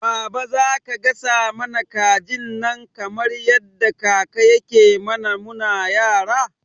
Baba zaka gasa mana kajin nan kamar yadda kaka yake mana muna yara?